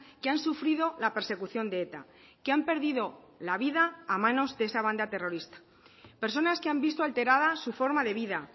que han sufrido la persecución de eta que han perdido la vida a manos de esa banda terrorista personas que han visto alteradas su forma de vida